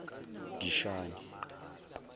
dishani